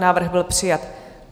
Návrh byl přijat.